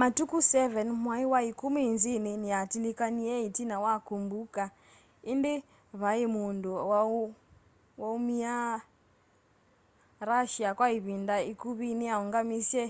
matukũ 7 mwai wa ĩkumi inzini niyatilikanie itina wa kũmbũka indi vaiĩ mũndũ wa'ũmĩa russia kwa ivinda ikuvi niyaungamisye